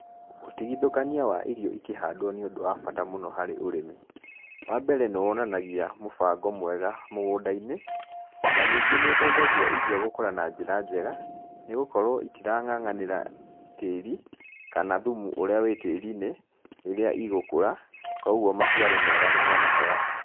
Ũtigithũkania wa irio ikĩhandwo nĩ ũndũ wa bata mũno harĩ ũrĩmi. Wa mbere nĩ wonanagia mũbango mwega mũgũnda-inĩ, o na ningĩ nĩ ũteithagia irio gũkũra na njĩra njega, nĩ gũkorwo itirang'ang'anĩra tĩri, kana thumu ũrĩa wĩ tĩri-inĩ, rĩrĩa igũkũra, koguo maciaro mega nĩ monekaga.